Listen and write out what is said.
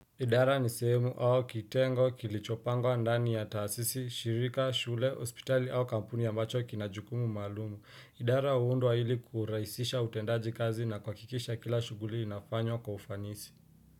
Idara ni sehemu au kitengo kilichopangwa ndani ya taasisi shirika shule hospitali au kampuni ambacho kina jukumu maalumu idara huundwa ili kurahisisha utendaji kazi na kuhakikisha kila shughuli inafanywa kwa ufanisi.